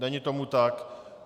Není tomu tak.